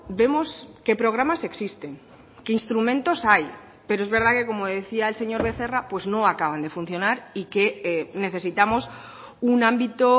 vemos que programas existen que instrumentos hay pero es verdad que como decía el señor becerra pues no acaban de funcionar y que necesitamos un ámbito